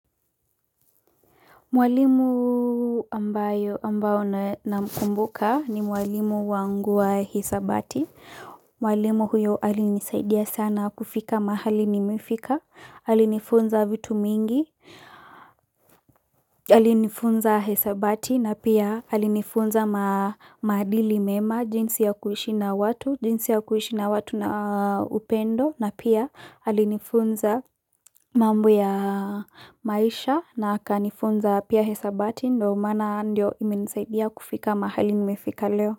Mwalimu ambayo ambayo namkumbuka ni mwalimu wangu wa hisabati. Mwalimu huyo alinisaidia sana kufika mahali nimefika. Alinifunza vitu mingi. Alinifunza hisabati na pia alinifunza maadili mema jinsi ya kuishi na watu. Pendo na pia alinifunza mambo na maisha na akanifumza pia hisabati ndo maana imenisaidia kufika mahali nimefika leo.